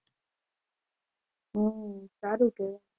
હમ સારું કહેવાય.